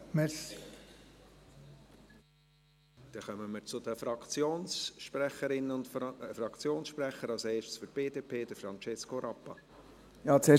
Dann kommen wir zu den Fraktionssprecherinnen und Fraktionssprechern, als erster Francesco Rappa für die BDP.